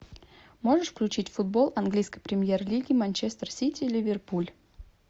можешь включить футбол английской премьер лиги манчестер сити ливерпуль